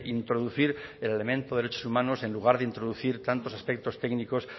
introducir el elemento de derechos humanos en lugar de introducir tantos aspectos técnicos